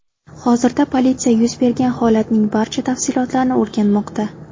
Hozirda politsiya yuz bergan holatning barcha tafsilotlarini o‘rganmoqda.